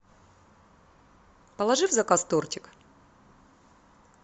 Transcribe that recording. положи в заказ тортик